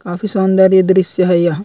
काफी सौन्दर्य दृश्य है यह।